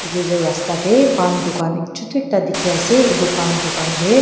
etu toh rasta tae pan dukan chutu ekta dekhi ase etu dukan tae.